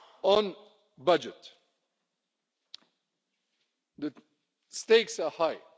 On the budget, the stakes are high.